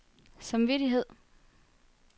samvittighed